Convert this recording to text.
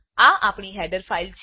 આ આપણી header file છે